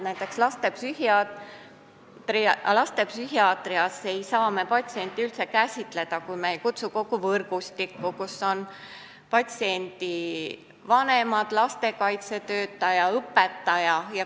Näiteks, lastepsühhiaatrias ei saa me patsienti üldse käsitleda, kui me ei kutsu kokku kogu võrgustikku, kus on patsiendi vanemad, lastekaitsetöötaja ja õpetaja.